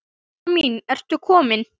Lilla mín, ertu komin?